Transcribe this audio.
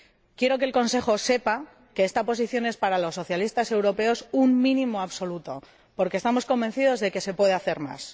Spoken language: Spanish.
Quiero que el Consejo sepa que esta posición es para los socialistas europeos un mínimo absoluto, porque estamos convencidos de que se puede hacer más.